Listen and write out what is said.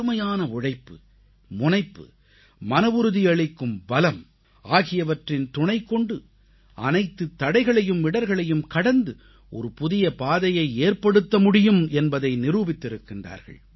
கடுமையான உழைப்பு முனைப்பு மனவுறுதி அளிக்கும் பலம் ஆகியவற்றின் துணைகொண்டு அனைத்துத் தடைகளையும் இடர்களையும் கடந்து ஒரு புதிய பாதையை ஏற்படுத்த முடியும் என்பதை நிரூபித்திருக்கின்றார்கள்